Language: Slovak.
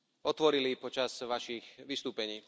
otvorili počas Vašich vystúpení.